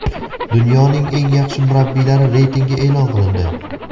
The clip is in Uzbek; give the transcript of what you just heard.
Dunyoning eng yaxshi murabbiylari reytingi eʼlon qilindi.